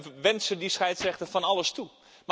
We wensen die scheidsrechter van alles toe.